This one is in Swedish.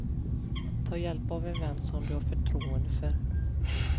Ta hjälp av en vän som du har förtroende för.